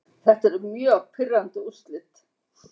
Þetta eru mjög pirrandi úrslit.